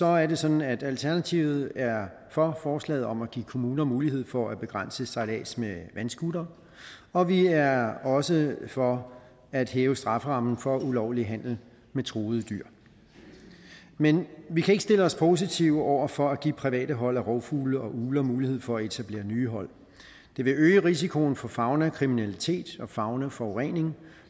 er det sådan at alternativet er for forslaget om at give kommuner mulighed for at begrænse sejlads med vandscootere og vi er også for at hæve strafferammen for ulovlig handel med truede dyr men vi kan ikke stille os positive over for at give private hold af rovfugle og ugler mulighed for at etablere nye hold det vil øge risikoen for faunakriminalitet og faunaforurening